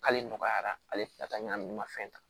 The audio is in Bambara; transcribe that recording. K'ale nɔgɔyara ale tɛ ka taa ɲagami ma fɛn ta